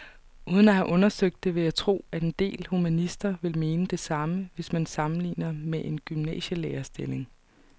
Uden at have undersøgt det vil jeg tro, at en del humanister vil mene det samme, hvis man sammenligner med en gymnasielærerstilling.